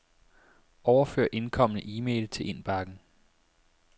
Overfør indkomne e-mail til indbakken.